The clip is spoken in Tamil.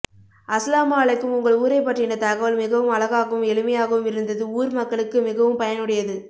அஸ்ஸலாமு அலைக்கும் உங்கள் ஊரைபற்றின தகவள் மிகவும் அழகாகவும் எழிமையாகவும் இருந்தது ஊர் மக்களுக்கு மிகவும் பயனுடையது